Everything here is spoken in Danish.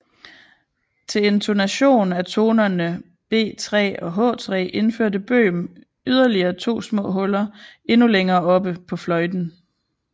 Til intonation af tonerne B3 og H3 indførte Böhm yderligere to små huller endnu længere oppe på fløjten